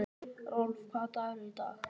Rolf, hvaða dagur er í dag?